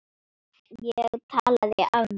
Ég talaði af mér.